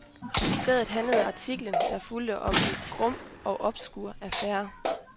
I stedet handlede artiklen, der fulgte, om en grum og obskur affære.